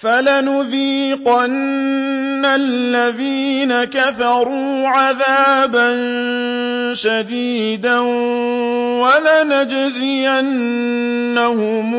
فَلَنُذِيقَنَّ الَّذِينَ كَفَرُوا عَذَابًا شَدِيدًا وَلَنَجْزِيَنَّهُمْ